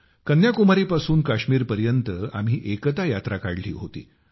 कन्याकुमारीपासून काश्मीरपर्यंत आम्ही एकता यात्रा काढली होती